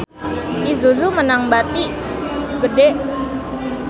Isuzu meunang bati gede